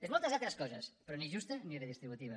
és moltes altres coses però ni justa ni redistributiva